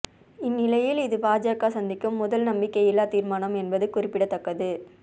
இந்நிலையில் இது பாஜக சந்திக்கும் முதல் நம்பிக்கையில்லா தீர்மானம் என்பது குறிப்பிடத்தக்கது